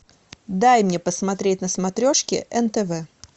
дай мне посмотреть на смотрешке нтв